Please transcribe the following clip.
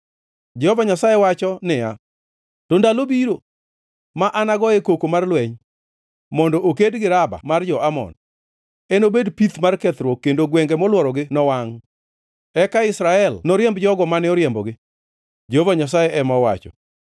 Jehova Nyasaye wacho niya, “To ndalo biro, ma anagoye koko mar lweny mondo oked gi Raba mar jo-Amon; enobed pith mar kethruok, kendo gwenge molworogi nowangʼ. Eka Israel noriemb jogo mane oriembogi,” Jehova Nyasaye ema owacho.